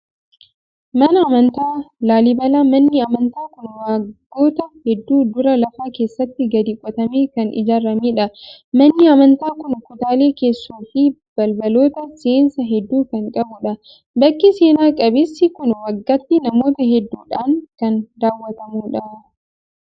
Mana amantaa laallibalaa. Manni amantaa kun waggoota hedduu dura lafa keessatti gadi qotamee kan ijaaramedha. Manni amantaa kun kutaalee keessoo fi balbaloota seensaa hedduu kan qabudha. Bakki seena qabeessi kun waggaatti namoota hedduudhaan kan daawwatamudha.